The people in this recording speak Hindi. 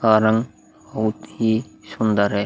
कारण बहुत ही सुन्दर है --